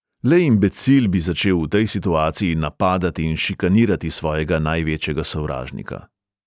Le imbecil bi začel v tej situaciji napadati in šikanirati svojega največjega sovražnika.